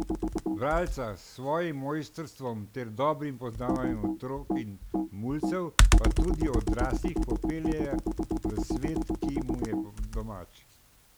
Bralca s svojim mojstrstvom ter dobrim poznavanjem otrok in mulcev, pa tudi odraslih, popelje v svet, ki mu je domač.